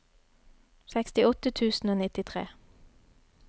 sekstiåtte tusen og nittitre